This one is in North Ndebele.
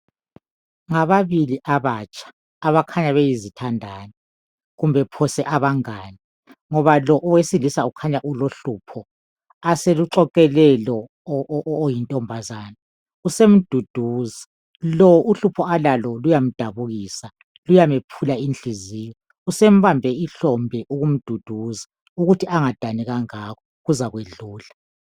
Ngababili abatsha abakhanya beyizithandani kumbe phose abangani ngoba lo owesilisa ukhanya ulohlupho aseluxoxele lo oyintombazana. Usemduduza. Lo uhlupho alalo luyamdabulisa luyamephula inhliziyo. Usembambe ihlombe ukumduduza ukuthi angadani kangako kuzakwedlula.